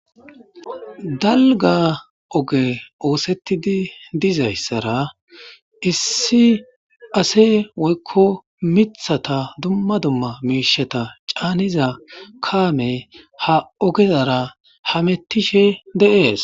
Dalga ogey oththetidi dizayssara issi asse woyikko miththata dumma dumma moshsheta caniza kamey ha ogazara hamutishe de"es